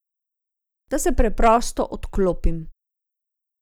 Da se preprosto odklopim.